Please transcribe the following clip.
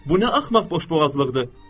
Bu nə axmaq boşboğazlıqdır?